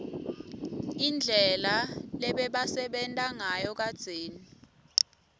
indlela lebebasebenta ngayo kadzeni